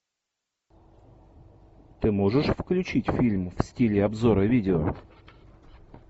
ты можешь включить фильм в стиле обзора видео